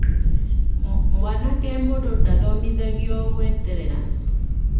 Mwanake mũndũ ndathomithagio gweterera